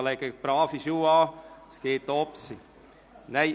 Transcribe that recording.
Ziehen Sie also gute Schuhe an, denn es geht aufwärts.